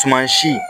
Tumansi